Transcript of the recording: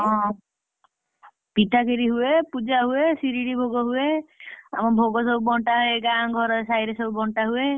ହଁ, ପିଠା, କ୍ଷୀରି ହୁଏ, ପୂଜା ହୁଏ, ସିରିଣୀ ଭୋଗ ହୁଏ ଆମ ଭୋଗ ସବୁ ବଣ୍ଟା ହୁଏ ଗାଁ ଘର ସାଇରେ ସବୁ ବଣ୍ଟା ହୁଏ।